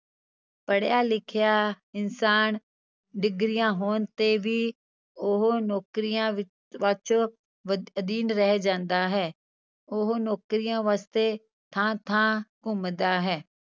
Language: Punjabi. ਪੜ੍ਹਿਆ ਲਿਖਿਆ ਇਨਸਾਨ ਡਿਗਰੀਆਂ ਹੋਣ ਤੇ ਵੀ ਉਹ ਨੌਕਰੀਆਂ ਵਿ~ ਅਧੀਨ ਰਹਿ ਜਾਂਦਾ ਹੈ, ਉਹ ਨੌਕਰੀਆਂ ਵਾਸਤੇ ਥਾਂ ਥਾਂ ਘੁੰਮਦਾ ਹੈ।